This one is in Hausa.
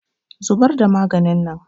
Zubar da maganin nan!